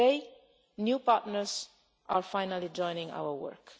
Today new partners are finally joining our work.